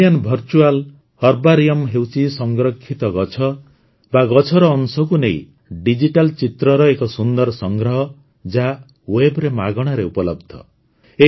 Indian virtual herbarium ହେଉଛି ସଂରକ୍ଷିତ ଗଛ ବା ଗଛର ଅଂଶକୁ ନେଇ ଡିଜିଟାଲ୍ ଚିତ୍ରର ଏକ ସୁନ୍ଦର ସଂଗ୍ରହ ଯାହା ୱେବରେ ମାଗଣାରେ ଉପଲବ୍ଧ